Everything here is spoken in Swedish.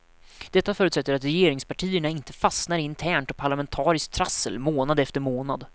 Detta förutsätter att regeringspartierna inte fastnar i internt och parlamentariskt trassel månad efter månad.